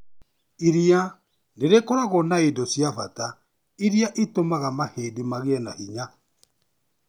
Iria nĩrĩkoragwo na indo cia bata iria itũmaga mahĩndĩ magĩe na hinya.